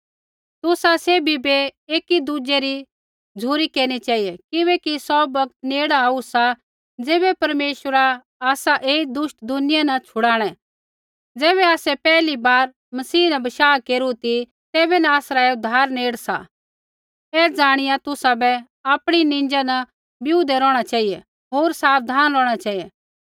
तुसा सैभी बै एकी दुज़ै री झ़ुरी केरनी चेहिऐ किबैकि सौ बौगत नेड़ आऊ सा ज़ैबै परमेश्वरा आसै ऐई दुष्ट दुनिया न छुड़ाणै ज़ैबै आसै पैहली बार मसीह न बशाह केरू ती तैबै न आसरा ऐ उद्धार नेड़ सा ऐ जाणिया तुसाबै आपणी निंजा न बिऊदै रौहणा चेहिऐ होर साबधान रौहणा चेहिऐ